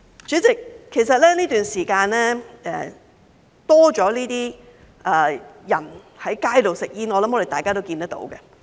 主席，其實這段時間多了這些人在街上吸煙，我相信大家也看到。